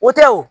O tɛ wo